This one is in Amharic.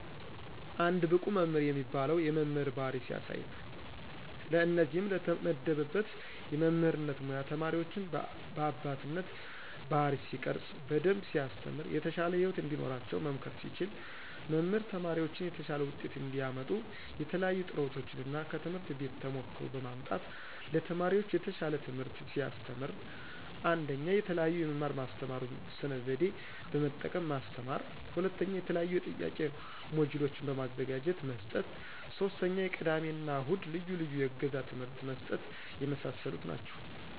አንድ ብቁ መምህር የሚባለው የመምህር ባህሪ ሲያሳይ ነው። ለእነዚህም ለተመደበበት የመምህርነት ሙያ ተማሪዎችን በአባትነት ባህሪይ ሲቀርፅ። በደንብ ሲያስተምር። የተሻለ ህይወት እንዲኖራቸው መምከር ሲችል። መምህር ተማሪዎችን የተሻለ ውጤት እንዲያመጡ የተለያዪ ጥረቶችን እና ከትምህርት ቤት ተሞክሮ በማምጣት ለተማሪዎች የተሻል ትምህርት ሲያስተምር። 1ኞ፦ የተለዬዬ የመማር ማስተማሩን ስነ ዘዴ በመጠቀም ማስተማር 2ኞ፦ የተለያዬ የጥያቂ ሞጅሎችን በማዘጋጀት መስጠት 3ኞ፦ የቅዳሜ እና እሁድ ልዪ ልዬ የእገዛ ትምህርት መስጠት የመሳሰሉ ናቸው።